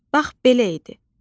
Bax, belə idi.